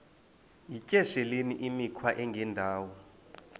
yityesheleni imikhwa engendawo